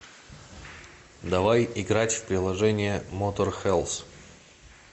давай играть в приложение моторхэлс